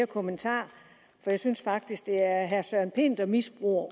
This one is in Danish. kommentar for jeg synes faktisk det er er herre søren pind der misbruger